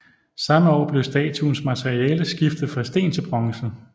Samme år blev statuens materiale skiftet fra sten til bronze